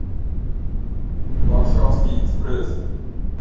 варшавский экспресс